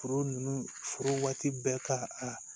Foro nunnu foro waati bɛɛ ka